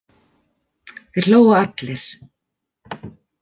Þeir hlógu allir.